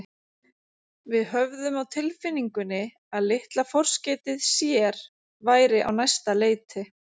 Við höfðum á tilfinningunni að litla forskeytið sér væri á næsta leiti.